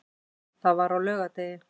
Það var á laugardegi.